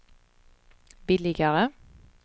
billigare